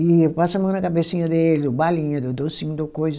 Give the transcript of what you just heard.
E eu passo a mão na cabecinha dele, dou balinha, dou docinho, dou coisa.